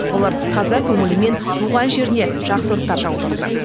олар таза көңілімен туған жеріне жақсылықтар жаудырды